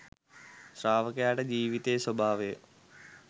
ශ්‍රාවකයාට ජීවිතයේ ස්වභාවය